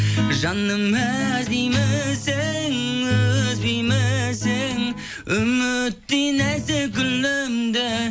жаным іздеймісің үзбеймісің үміттей нәзік гүліңді